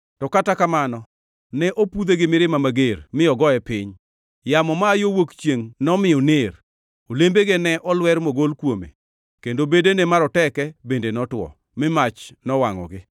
To kata kamano, ne opudhe gi mirima mager mi ogoye piny. Yamo ma aa yo wuok chiengʼ nomiyo oner; olembege ne olwer mogol kuome; kendo bedene maroteke bende notwo mi mach nowangʼogi.